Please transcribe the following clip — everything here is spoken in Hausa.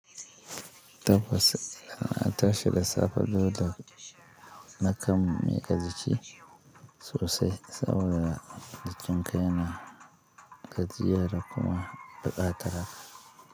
Tafasuna ta sha da safe dole na kan miƙa jiki sosai saboda jikinka yana gajiyar da kuma buƙatar hakan.